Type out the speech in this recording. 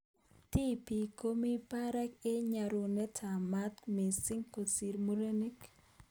Tibik komi barak eng nyorunet ab mat missing kosir murenik.